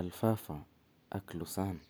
Alfalfa ak Lucerne